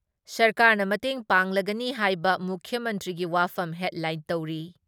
ꯁꯔꯀꯥꯔꯅ ꯃꯇꯦꯡ ꯄꯥꯡꯂꯒꯅꯤ ꯍꯥꯏꯕ ꯃꯨꯈ꯭ꯌ ꯃꯟꯇ꯭ꯔꯤꯒꯤ ꯋꯥꯐꯝ ꯍꯦꯗꯂꯥꯏꯟ ꯇꯧꯔꯤ ꯫